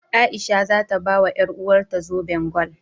A'isha za ta bawa ƴaruwarta zoben gwal.